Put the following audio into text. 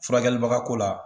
Furakɛli baga ko la.